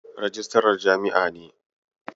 Rijistarar jami'ar ne.